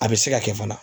A bɛ se ka kɛ fana